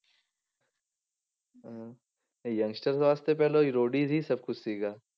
ਹਾਂ, ਇਹ youngsters ਵਾਸਤੇ ਪਹਿਲਾਂ ਰੋਡੀਜ ਹੀ ਸਭ ਕੁਛ ਸੀਗਾ।